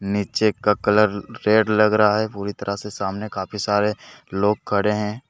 नीचे का colour red लग रहा है पूरी तरह से सामने काफी सारे लोग खड़े हैं।